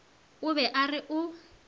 a be a re o